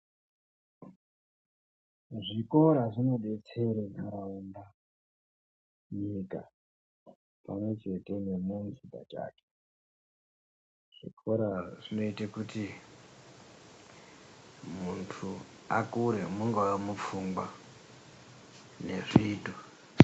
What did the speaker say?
Zvikora zvinodetsere ntaraunda , nyika pamwechete nemuzvipatara . Zvikora zvinoite kuti muntu akure mungave mupfungwa nezviito .